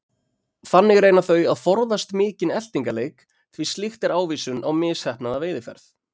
Þannig reyna þau að forðast mikinn eltingaleik því slíkt er ávísun á misheppnaða veiðiferð.